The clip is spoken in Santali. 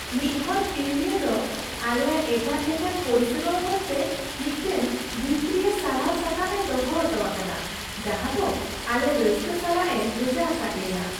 ᱢᱤᱫ ᱦᱚᱲ ᱠᱤᱨᱤᱧᱤᱭᱟᱹ ᱫᱚ ᱟᱞᱮᱭᱟᱜ ᱮᱴᱟᱜ ᱞᱮᱠᱟᱱ ᱯᱚᱨᱤᱥᱮᱵᱟ ᱵᱟᱵᱚᱫᱛᱮ ᱢᱤᱫᱴᱟᱝ ᱵᱷᱤᱛᱨᱤᱭᱟ ᱥᱟᱨᱦᱟᱣ ᱥᱟᱠᱟᱢ ᱮ ᱫᱚᱦᱚ ᱦᱚᱴᱚ ᱟᱠᱟᱫᱟ ᱡᱟᱦᱟᱸ ᱫᱚ ᱟᱞᱮ ᱨᱟᱹᱥᱠᱟᱹ ᱥᱟᱞᱟᱜ ᱮ ᱵᱷᱮᱡᱟ ᱟᱠᱟᱫ ᱞᱮᱭᱟ ᱾